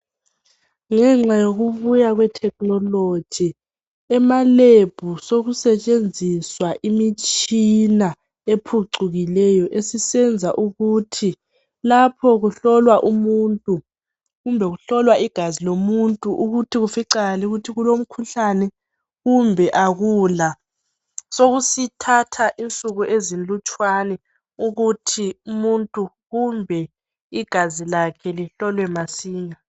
Ngenxa yokubuya kwe thekhinoloji, emalebhu sekusetshenziswa imitshina ephucukileyo esisenza ukuthi lapho kuhlolwa umuntu kumbe kuhlolwa igazi lomuthi ukuthi kuficakale ukuthi kulomkhuhlane kumbe akula, sokusithatha insuku ezilutshwana ukuthi umuntu kumbe igazi lakhe lihlolwe masinya.